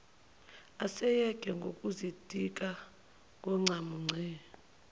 eseyeke nokuzitika ngoncamunce